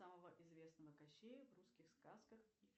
самого известного кощея в русских сказках